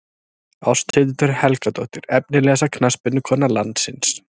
Ásthildur Helgadóttir Efnilegasta knattspyrnukona landsins?